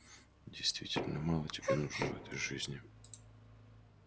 действительно мало тебе нужно в этой жизни